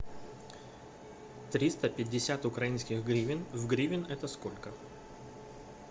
триста пятьдесят украинских гривен в гривен это сколько